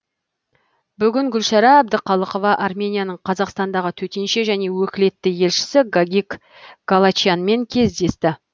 бүгін гүлшара әбдіқалықова арменияның қазақстандағы төтенше және өкілетті елшісі гагик галачянмен кездесті